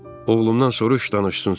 Oğlumdan soruş danışsın sənə.